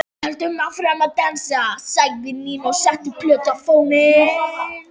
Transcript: Höldum áfram að dansa, sagði Nína og setti plötu á fóninn.